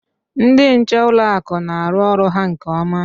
Ndị nche n'ụlọ akụ na-arụ ọrụ ha nke ọma.